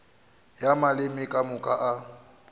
ya maleme ka moka a